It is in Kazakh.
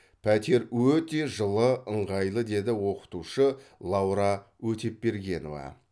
пәтер өте жылы ыңғайлы деді оқытушы лаура өтепбергенова